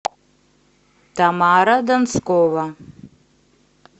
тамара донскова